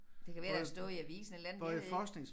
Det kan være det har stået i avisen et eller andet jeg ved ikke